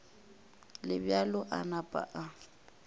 le bjalo a napa a